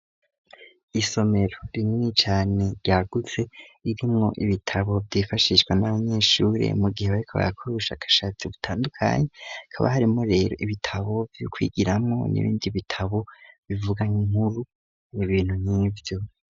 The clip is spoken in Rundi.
Isomero rinini cane ryagutse, irimwo ibitabo vyifashishwa n'abanyeshure mu gihe bariko barakora ubushakashatsi butandukanye, hakaba harimwo rero ibitabo vyo kwigiramwo, n'ibindi bitabo bivuga nk'inkuru mu bintu nk'ivyo.